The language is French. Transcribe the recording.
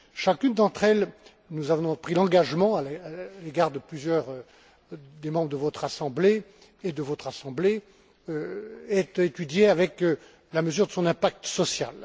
Chacune d'entre elles nous en avions pris l'engagement à l'égard de plusieurs des membres de votre Assemblée et de votre Assemblée est étudiée avec la mesure de son impact social.